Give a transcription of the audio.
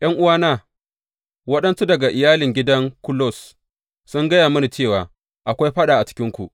’Yan’uwana, waɗansu daga iyalin gidan Kulos sun gaya mini cewa, akwai faɗa a cikinku.